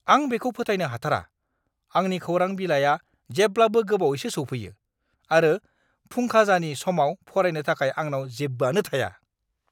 आं बेखौ फोथायनो हाथारा! आंनि खौरां बिलाइआ जेब्लाबो गोबावैसो सौफैयो, आरो फुंखाजानि समाव फरायनो थाखाय आंनाव जेबोआनो थाया!